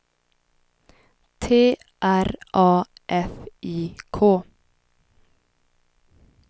T R A F I K